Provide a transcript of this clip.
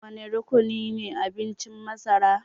Wane rukunine abincin masara